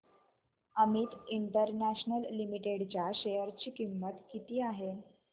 Amit international limited च्या share ची किंमत किती आहे